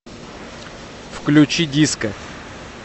включи диско